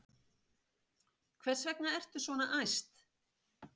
Hvers vegna ertu svona æst?